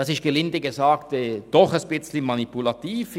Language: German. Das ist gelinde gesagt doch ein bisschen manipulativ.